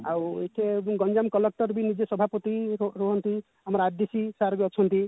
ଆଉ ଏଠି ଗଞ୍ଜାମ collector ବି ନିଜେ ସଭାପତି ରୁ ରୁହନ୍ତି ଆମାର ଆଦିଶି sir ବି ଅଛନ୍ତି